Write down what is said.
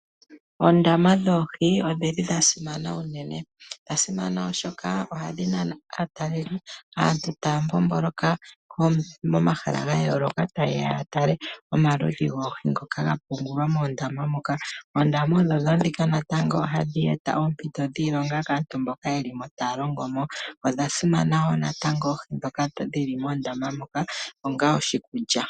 Oondama dhoohi odha simana unene. Odha simana, oshoka ohadhi nana aatalelipo, aantu taya mbomboloka momahala ga yooloka taye ya ya tale omaludhi goohi ngoka ga pungulwa moondama moka. Oondama odho tuu ndhika natango ohadhi eta oompito dhiilonga kaantu mboka taya longo mo. Oohi ndhoka dhi li moondama odha simana wo oshoka ohadhi liwa onga oshikulya.